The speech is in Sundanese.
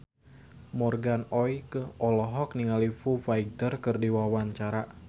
Morgan Oey olohok ningali Foo Fighter keur diwawancara